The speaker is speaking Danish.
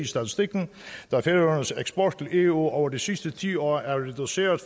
statistikken da færøernes eksport til eu over de sidste ti år er reduceret